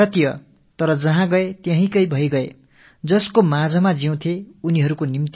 அவர்கள் பாரத வம்சாவழியினராக இருந்தாலும் அவர்கள் குடிபெயர்ந்த அந்த நாட்டுக்குரியவர்களாகவே ஆகி விட்டிருந்தார்கள்